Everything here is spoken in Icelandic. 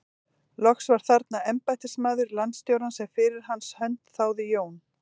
Loks var þarna embættismaður landstjórans sem fyrir hans hönd þáði Jón